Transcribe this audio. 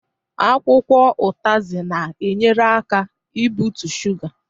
Akwụkwọ utazi na enyere aka ị bụtụ shuga